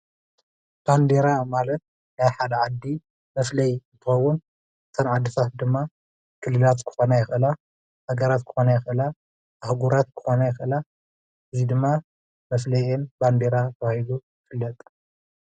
ባንዴራ ማለት ናይ ሓደ ዓዲ መፍለዩ እንትኸውን እተን ዓድታት ድማ ክልላት ክኾና ይኽእላ፣ ሃገራት ክኾና ይኽእላ፣ ኣህጉራት ክኾና ይኽእላ፣ እዙይ ድማ መፍለይአን ባንዴራ ተባሂሉ ይፍለጥ።